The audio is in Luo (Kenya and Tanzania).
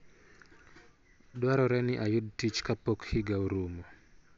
Dwarore ni ayud tich kapok higa orumo